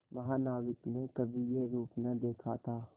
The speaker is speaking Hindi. महानाविक ने कभी यह रूप न देखा था